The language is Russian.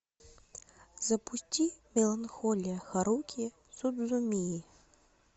запусти меланхолия харухи судзумии